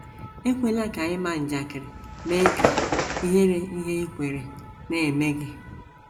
Ekwela ka ịma njakịrị mee ka ihere ihe i kweere na - eme gị